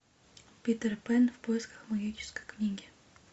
питер пэн в поисках магической книги